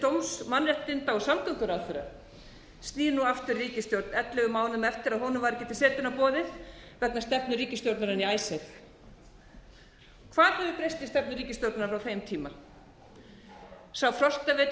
dóms mannréttinda og samgönguráðherra snýr nú aftur í ríkisstjórn ellefu mánuðum eftir að honum var ekki til setunnar boðið vegna stefnu ríkisstjórnarinnar í icesave hvað hefur breyst í stefnu ríkisstjórnarinnar á þeim tíma sá frostavetur sem spáð